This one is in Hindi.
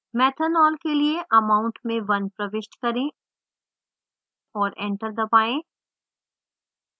methanol के लिए amount में 1 प्रविष्ट करें और enter दबाएँ